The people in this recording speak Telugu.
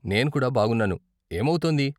నేను కూడా బాగున్నాను. ఏమౌతోంది?